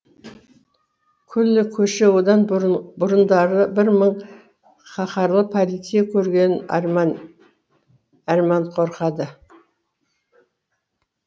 күллі көше одан бұрындары бір мың қаһарлы полицей көрген арман қорқады